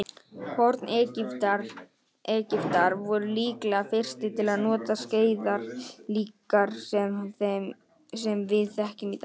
Forn-Egyptar voru líklega fyrstir til að nota skeiðar líkar þeim sem við þekkjum í dag.